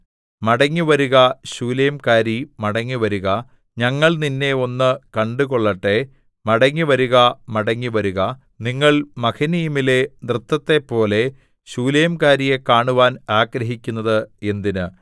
മടങ്ങിവരുക ശൂലേംകാരീ മടങ്ങിവരുക ഞങ്ങൾ നിന്നെ ഒന്ന് കണ്ടുകൊള്ളട്ടെ മടങ്ങിവരുക മടങ്ങിവരുക നിങ്ങൾ മഹനയീമിലെ നൃത്തത്തെപ്പോലെ ശൂലേംകാരിയെ കാണുവാൻ ആഗ്രഹിക്കുന്നത് എന്തിന്